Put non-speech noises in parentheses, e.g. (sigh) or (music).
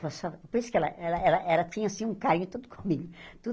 (unintelligible) Por isso que ela ela ela tinha, assim, um carinho todo comigo. tudo